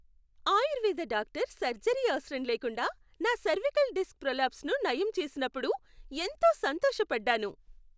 Ayurveda doctor surgery అవసరం లేకుండా నా సెర్వికల్ డిస్క్ ప్రోలాప్స్ను నయం చేసినప్పుడు ఎంతో సంతోషపడ్డాను.